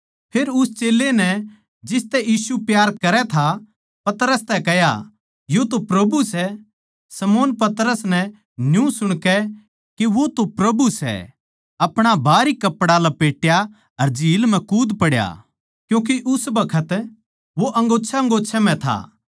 फेर उस चेल्यां नै जिसतै यीशु प्यार करै था पतरस तै कह्या यो तो प्रभु सै पतरस नै न्यू सुणकै के वो तो प्रभु सै अपणा बाहरी कपड़ा लपेट्या अर झील म्ह कूद पड़ा क्यूँके उस बखत वो अंगोच्छेंअंगोच्छें म्ह था